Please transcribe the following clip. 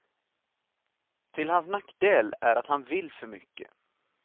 Till hans nackdel är att han vill för mycket.